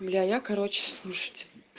бля я короче слушайте